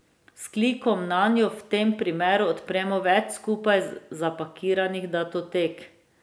S klikom nanjo v tem primeru odpremo več skupaj zapakiranih datotek.